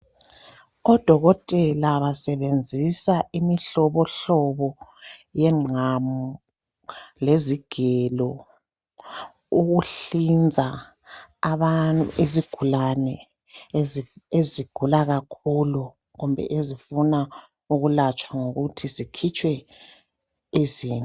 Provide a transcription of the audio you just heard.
Odokotela basebenzisa imihlobohlobo yengqamu lezigelo ukuhlinza izigulane ezigulankakhulu kumbe ezifuna ukulatshwa ngokuthi zikhitshwe izinto.